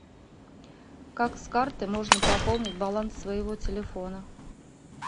как с карты можно пополнить баланс своего телефона